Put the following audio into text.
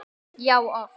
Já, oft!